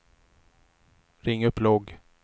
ring upp logg